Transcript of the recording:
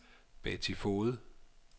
Betty Foged